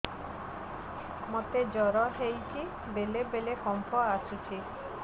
ମୋତେ ଜ୍ୱର ହେଇଚି ବେଳେ ବେଳେ କମ୍ପ ଆସୁଛି